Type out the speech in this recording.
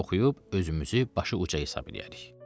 Biz də oxuyub özümüzü başı uca hesab eləyərik.